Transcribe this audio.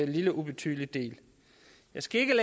lille og ubetydelig del jeg skal ikke